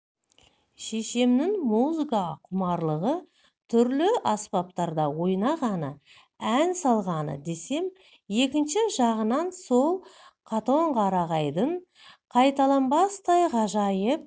шешемнің музыкаға құмарлығы түрлі аспаптарда ойнағаны ән салғаны десем екінші жағынан сол қатонқарағайдың қайталанбастай ғажайып